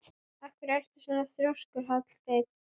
Af hverju ertu svona þrjóskur, Hallsteinn?